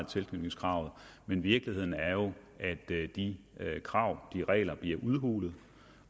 tilknytningskravet men virkeligheden er jo at de krav og regler bliver udhulet